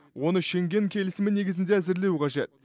оны шенген келісімі негізінде әзірлеу қажет